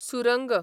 सुरंग